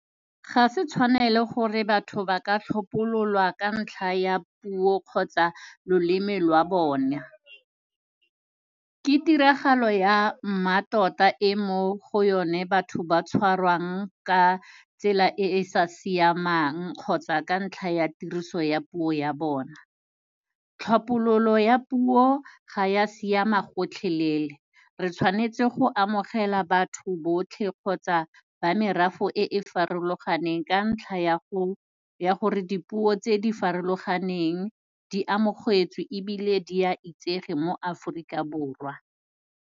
Ga se tshwanelo gore batho ba ka tlhophololwa ka ntlha ya puo kgotsa loleme lwa bona. Ke tiragalo ya mmatota e mo go yone batho ba tshwarwang ka tsela e e sa siamang kgotsa ka ntlha ya tiriso ya puo ya bona. Tlhophololo ya puo ga ya siama gotlhelele, re tshwanetse go amogela batho botlhe kgotsa ba merafe e e farologaneng ka ntlha ya go, ya gore dipuo tse di farologaneng di amogetswe ebile di a itsege mo Aforika Borwa.